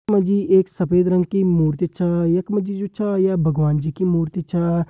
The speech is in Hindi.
यख मा जी एक सफ़ेद रंग की मूर्ति छा यख मा जी जू छ य भगवान जी की मूर्ति छा।